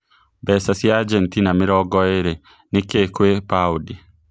mbeca cia Ajentina mirongo ĩrĩ nĩ kĩ gwĩ paũndi